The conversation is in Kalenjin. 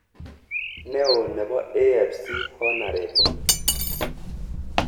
Neo nebo AFC Hon.